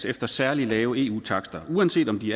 efter særligt lave eu takster uanset om de